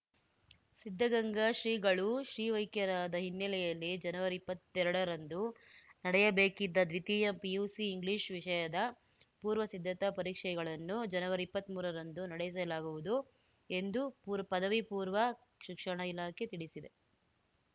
ಸಿದ್ಧಗಂಗಾ ಶ್ರೀಗಳು ಶಿವೈಕ್ಯರಾದ ಹಿನ್ನೆಲೆಯಲ್ಲಿ ಜನವರಿಇಪ್ಪತ್ತೆರಡರಂದು ನಡೆಯಬೇಕಿದ್ದ ದ್ವಿತೀಯ ಪಿಯುಸಿ ಇಂಗ್ಲಿಷ್‌ ವಿಷಯದ ಪೂರ್ವಸಿದ್ಧತಾ ಪರೀಕ್ಷೆಗಳನ್ನು ಜನವರಿಇಪ್ಪತ್ಮೂರ ರಂದು ನಡೆಸಲಾಗುವುದು ಎಂದು ಪೂರ್ ಪದವಿಪೂರ್ವ ಶಿಕ್ಷಣ ಇಲಾಖೆ ತಿಳಿಸಿದೆ